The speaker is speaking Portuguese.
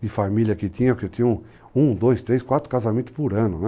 de família que tinha, porque eu tinha um, dois, três, quatro casamentos por ano, né?